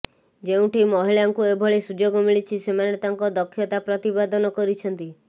ଯେଉଁଠି ମହିଳାଙ୍କୁ ଏଭଳି ସୁଯୋଗ ମିଳିଛି ସେମାନେ ତାଙ୍କ ଦକ୍ଷତା ପ୍ରତିପାଦନ କରିଛନ୍ତି